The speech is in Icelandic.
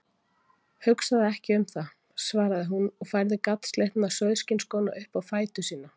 Hugsaðu ekki um það, svaraði hún og færði gatslitna sauðskinnsskóna upp á fætur sína.